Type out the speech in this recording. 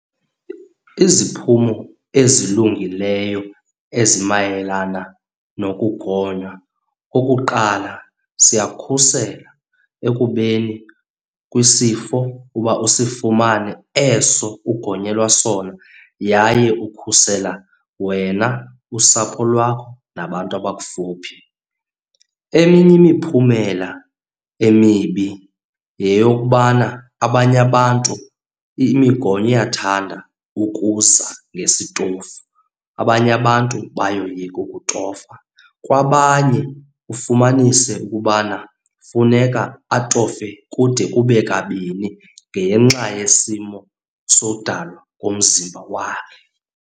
Iziphumo ezilungileyo ezimayelana nokugonywa, okokuqala siyakhusela ekubeni kwisifo uba usifumane eso ugonyelwa sona. Yaye ukhusela wena, usapho lwakho nabantu aba okufuphi. Eminye imiphumela emibi yeyokubana abanye abantu imigonyo iyathanda ukuza ngesitofu, abanye abantu bayoyika ukutofa. Kwabanye ufumanise ukubana funeka atofe kude kube kabini ngenxa yesimo sodalwa komzimba wakhe.